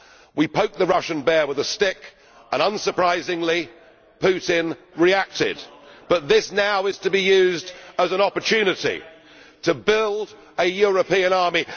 We poked the Russian bear with a stick and, unsurprisingly, Putin reacted, and this is now to be used as an opportunity to build a European army.